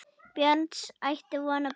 Björns, ætti von á barni.